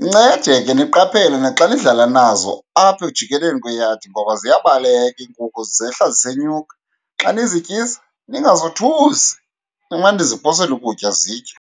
Nincede ke niqaphele naxa nidlala nazo apha ekujikeleni kweyadi, ngoba ziyabaleka iinkukhu zehla zisenyuka. Xa nizityisa ningazothusi, nimane niziphosela ukutya zitye.